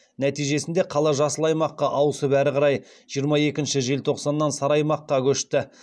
нәтижесінде қала жасыл аймаққа ауысып әрі қарай жиырма екінші желтоқсаннан сары аймаққа көшті